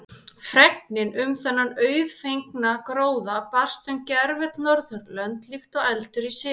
Fregnin um þennan auðfengna gróða barst um gervöll Norðurlönd líkt og eldur í sinu.